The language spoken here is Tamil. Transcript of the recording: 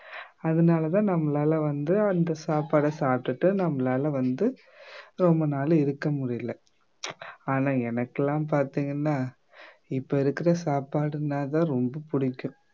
அதனால தான் நம்மளால வந்து அந்த சாப்பாட சாப்பிட்டுட்டு நம்மளால வந்து ரொம்ப நாள் இருக்க முடியல ஆனா எனக்கெல்லாம் பார்த்தீங்கன்னா இப்ப இருக்கிற சாப்பாடுன்னா தான் ரொம்ப பிடிக்கும்